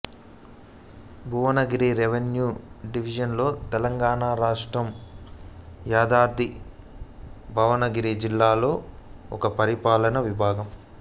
Bhuvanagiri revenue division Telangana రాష్ట్రం యాదాద్రి భువనగిరి జిల్లాలోని ఒక పరిపాలనా విభాగం